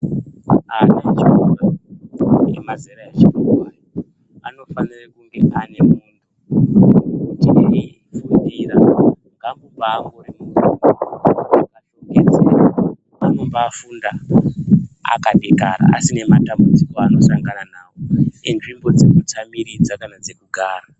Ana echikora emazera atikurwi anofanira kunge mukumbira akuba anobaifunda akadekara asina Mundau dzavanosangana nawo enzinda dzavanogara.